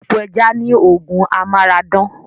Epo ẹja ni oògùn Amara dán